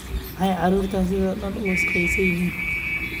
Maxay carruurtani sidhan daan uu wasakhaysan yihiin?